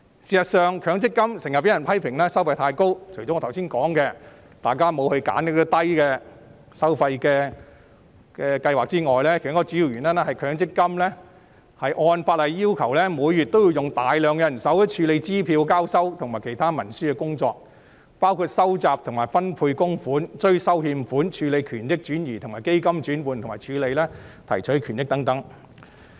事實上，強積金經常被批評收費太高，除了我剛才提到大家沒有選擇行政費用低的計劃外，另一個主要原因是強積金按法例要求，每月花大量人手處理支票交收及其他文書工作，包括收集和分配供款、追收欠款、處理權益轉移、基金轉換及提取權益等。